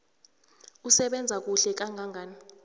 usebenza kuhle kangangani